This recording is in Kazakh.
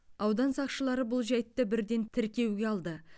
аудан сақшылары бұл жайтты бірден тіркеуге алды